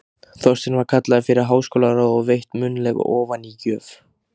Þorsteinn var kallaður fyrir háskólaráð og veitt munnleg ofanígjöf.